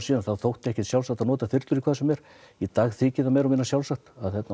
þótti ekkert sjálfsagt að nota þyrlur í hvað sem er í dag þykir það meira og minna sjálfsagt